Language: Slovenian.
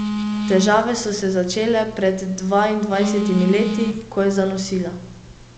Težave so se začele pred dvaindvajsetimi leti, ko je zanosila.